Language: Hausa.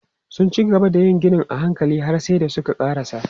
Sun cigaba da yin ginin a hankali har sai da suka ƙarasa.